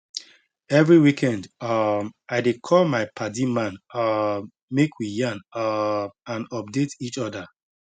every weekend um i dey call my padi man um make we yarn um and update each other